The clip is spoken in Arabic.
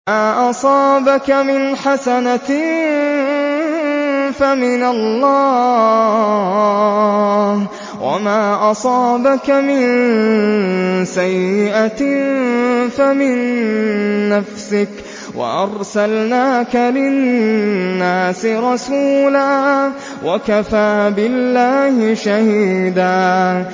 مَّا أَصَابَكَ مِنْ حَسَنَةٍ فَمِنَ اللَّهِ ۖ وَمَا أَصَابَكَ مِن سَيِّئَةٍ فَمِن نَّفْسِكَ ۚ وَأَرْسَلْنَاكَ لِلنَّاسِ رَسُولًا ۚ وَكَفَىٰ بِاللَّهِ شَهِيدًا